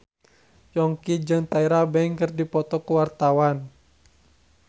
Yongki jeung Tyra Banks keur dipoto ku wartawan